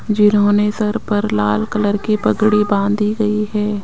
जिन्होंने सर पर लाल कलर के पगड़ी बांधी गई है।